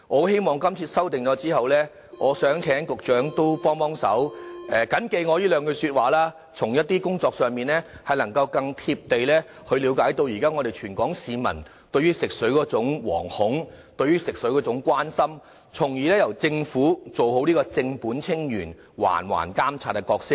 希望今次修訂後，請局長緊記我這兩句說話，在工作時更貼地了解到現在全港市民對於食水的惶恐和關心，從而由政府做好正本清源、環環監察的角色。